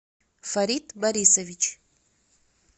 фарид борисович